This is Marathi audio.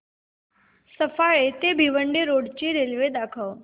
सफाळे ते भिवंडी रोड ची रेल्वे दाखव